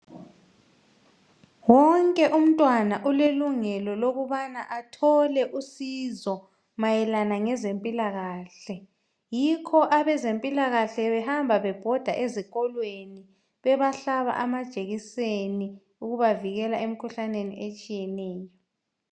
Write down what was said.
Wonke umntwana ulelungelo lokubana athole usizo mayelana ngezempilakahle. Yikho abezempilakahle behamba bebhoda ezikolweni bebahlaba amajekiseni ukubavikela emikhuhlaneni etshiyeneyo.